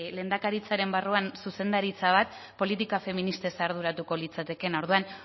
lehendakaritzaren barruan zuzendaritza bat politika feministez arduratuko litzatekeena orduan